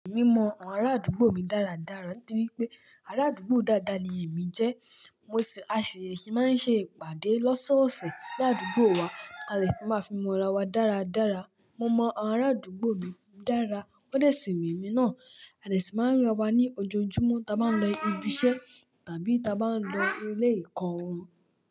Èmi mọ àwọn ará àdúgbò mi dáradára torí pé ará àdúgbò dáadáa ni èmi jẹ́. Mo ṣi, a ṣi máa ń ṣe ìpàdé lọ́sọ́ọ̀ọ̀sẹ̀ ní àdúgbò wa. A lè fi máa fi mọ ra wa dáradára. Mo mọ àwọn ará àdúgbò mi dára, wọ́n dẹ̀ ṣì mo mí náà. A dè ṣì máa ń ríra wa ní ojoojúmọ́, ta bá ń lọ ibi iṣẹ́ tàbí ta bá ń lọ ilé ekọ́ wọn.